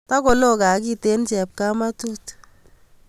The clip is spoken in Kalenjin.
Takolo gaa kiten chepkamatut